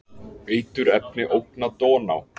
Eiturefni ógna Dóná